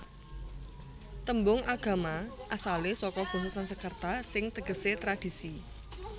Tembung agama asalé saka basa Sansekerta sing tegesé tradhisi